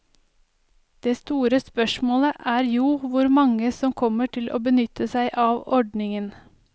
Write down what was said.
Det store spørsmålet er jo hvor mange som kommer til å benytte seg av ordningen.